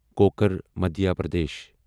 cooker Madhya Pradesh